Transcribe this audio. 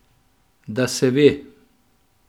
Da se ve.